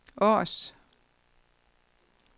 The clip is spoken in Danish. Aars